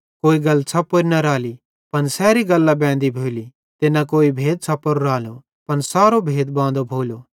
कोई गल छ़प्पोरी न राली पन सैरी गल्लां बेंदी भोली ते न कोई भेद छ़प्पोरो रालो पन सारो भेद बांदो भोलो